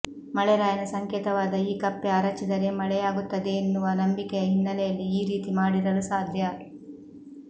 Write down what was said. ಮಳೆರಾಯನ ಸಂಕೇತವಾದ ಈ ಕಪ್ಪೆ ಅರಚಿದರೆ ಮಳೆಯಾಗುತ್ತದೆಯೆನ್ನುವ ನಂಬಿಕೆಯ ಹಿನ್ನೆಲೆಯಲ್ಲಿ ಈ ರೀತಿ ಮಾಡಿರಲು ಸಾಧ್ಯ